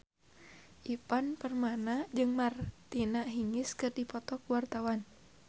Ivan Permana jeung Martina Hingis keur dipoto ku wartawan